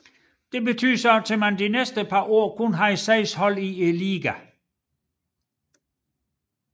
Det betød at man de næste par år kun havde 6 hold i ligaen